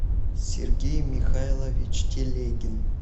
сергей михайлович телегин